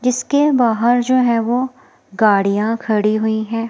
जिसके बाहर जो है वो गाड़ियां खड़ी हुई है।